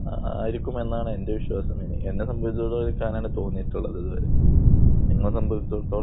ആയിരിക്കും എന്നാണ് എന്റെ വിശ്വാസം. എന്നെ സംബന്ധിച്ചിടത്തോളം എനിക്ക് അങ്ങനെയാണ് തോന്നിയിട്ടുള്ളത് ഇതിൽ. നിങ്ങളെ സംബന്ധിച്ചിടത്തോളം